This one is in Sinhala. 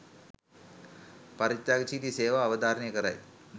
පරිත්‍යාගශීලී සේවාව අවධාරණය කරයි.